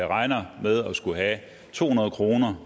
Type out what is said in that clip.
regner med at skulle have to hundrede kroner